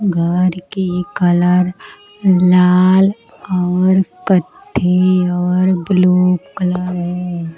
घर की कलर लाल और कत्थे और ब्लू कलर है।